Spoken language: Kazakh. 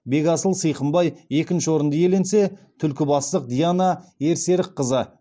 бекасыл сыйқымбай екінші орынды иеленсе түлкібастық диана ерсерікқызы